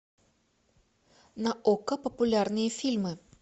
на окко популярные фильмы